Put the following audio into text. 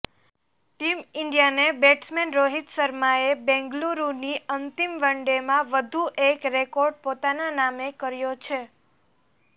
team ઈન્ડિયાને batsman Rohit શર્માએ બેંગલુરૂની અંતિમ વનડેમાં વધુ એક રેકોર્ડ પોતાના નામે કર્યો છે